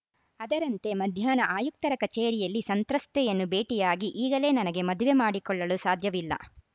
ಅದರಂತೆ ಮಧ್ಯಾಹ್ನ ಆಯುಕ್ತರ ಕಚೇರಿಯಲ್ಲಿ ಸಂತ್ರಸ್ತೆಯನ್ನು ಭೇಟಿಯಾಗಿ ಈಗಲೇ ನನಗೆ ಮದುವೆ ಮಾಡಿಕೊಳ್ಳಲು ಸಾಧ್ಯವಿಲ್ಲ